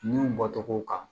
Nun bɔ tɔgɔw kan